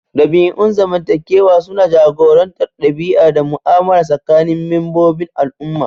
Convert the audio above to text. Dabi'un zamantakewa suna jagorantar ɗabi'a da mu'amala tsakanin membobin al'umma.